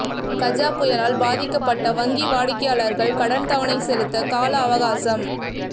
கஜா புயலால் பாதிக்கப்பட்ட வங்கி வாடிக்கையாளர்கள் கடன் தவணை செலுத்த காலஅவகாசம்